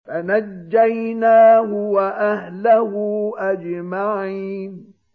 فَنَجَّيْنَاهُ وَأَهْلَهُ أَجْمَعِينَ